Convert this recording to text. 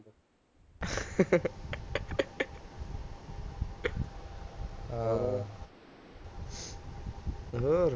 ਹੋਰ